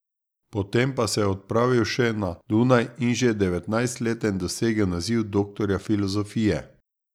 Potem pa se je odpravil še na Dunaj in že devetnajstleten dosegel naziv doktorja filozofije.